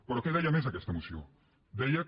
però què deia més aquesta moció deia que